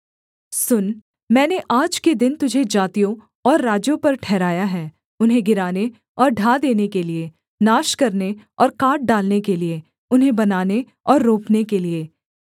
सुन मैंने आज के दिन तुझे जातियों और राज्यों पर ठहराया है उन्हें गिराने और ढा देने के लिये नाश करने और काट डालने के लिये उन्हें बनाने और रोपने के लिये